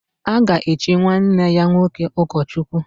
A ga-echi nwanne ya nwoke ụkọchukwu.